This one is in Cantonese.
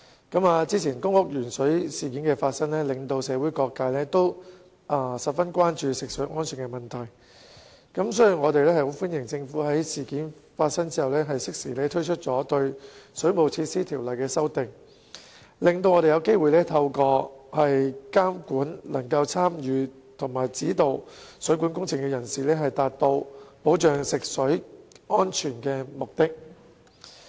早前發生的公屋鉛水事件令社會各界十分關注食水安全問題，所以我們十分歡迎政府在事件發生後適時對《水務設施條例》作出修訂，讓我們有機會透過監管能夠參與及指導水管工程的人士，達到保障食水安全的目的。